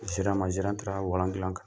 Gerant ma gerant taara walan dilan kan